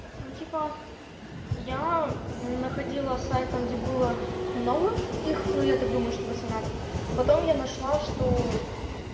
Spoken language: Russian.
ну типа я находила сайт там где было много их но я так думаю что восемнадцать потом я нашла что